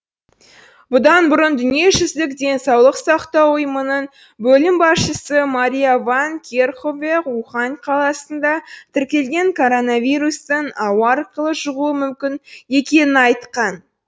бұдан бұрын дүниежүзілік денсаулық сақтау ұйымының бөлім басшысы мария ван керкхове ухань қаласында тіркелген коронавирустың ауа арқылы жұғуы мүмкін екенін айтқан